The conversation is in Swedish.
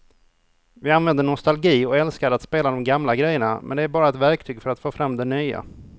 Vi använder nostalgi och älskar att spela de gamla grejerna men det är bara ett verktyg för att få fram det nya.